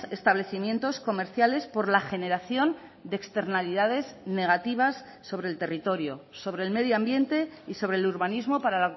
establecimientos comerciales por la generación de externalidades negativas sobre el territorio sobre el medio ambiente y sobre el urbanismo para